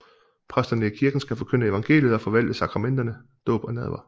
Præsterne i kirken skal forkynde evangeliet og forvalte sakramenterne dåb og nadver